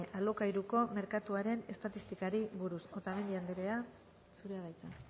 ame alokairuko merkatuaren estatistikari buruz otamendi anderea zurea da hitza